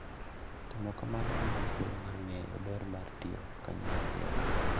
Timo kamano miyowa thuolo mar ng'eyo ber mar tiyo kanyachiel.